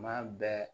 Maa bɛɛ